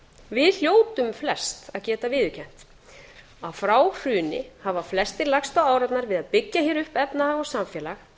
við hljótum flest að geta viðurkennt að frá hruni hafa flestir lagst á árarnar við að byggja hér upp efnahag og samfélag